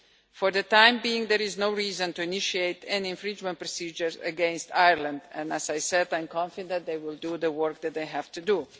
For the time being, there is no reason to initiate any infringement procedures against Ireland and, as I said, I'm confident that they will do the work that they have to do.